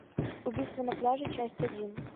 убийство на пляже часть один